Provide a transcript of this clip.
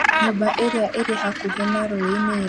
Nyũmba irĩa irĩ hakuhĩ na rũĩ nĩiramomorwo